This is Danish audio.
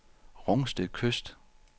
Rungsted Kyst